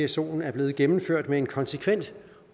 psoen er blevet gennemført med en konsekvent